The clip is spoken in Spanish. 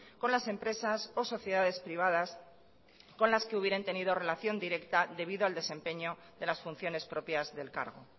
con las empresas o sociedades privadas con las que hubieran tenido relación directa debido al desempeño de las funciones propias del cargo